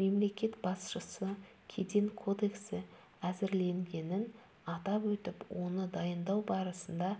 мемлекет басшысы кеден кодексі әзірленгенін атап өтіп оны дайындау барысында